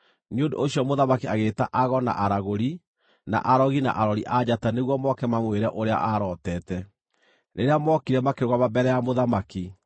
Nĩ ũndũ ũcio mũthamaki agĩĩta ago na aragũri, na arogi na arori a njata nĩguo moke mamwĩre ũrĩa aarootete. Rĩrĩa mookire makĩrũgama mbere ya mũthamaki,